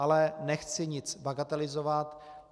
Ale nechci nic bagatelizovat.